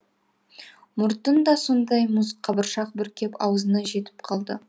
мұртын да сондай мұз қабыршақ бүркеп аузына жетіп қалды